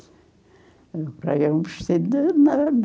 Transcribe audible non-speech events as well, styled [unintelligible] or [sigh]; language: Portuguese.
Comprei um vestido de [unintelligible]